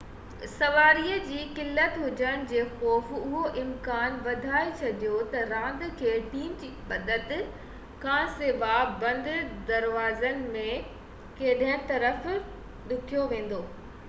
سواري جي قلت هجڻ جي خوف اهو امڪان وڌائي ڇڏيو ته راند کي ٽيم جي مدد کانسواءِ بند دروازن ۾ کيڏڻ طرف ڌِڪيو ويندو